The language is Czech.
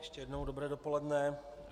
Ještě jednou dobré dopoledne.